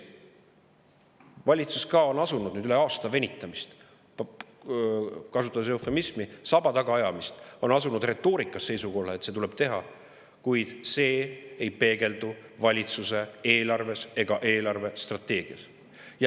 Valitsus on asunud nüüd, pärast rohkem kui aasta venitamist – kasutades eufemismi, saba tagaajamist –, oma retoorikas seisukohale, et seda tuleb teha, kuid see ei peegeldu valitsuse eelarves ega eelarvestrateegias.